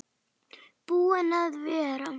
Búinn að vera.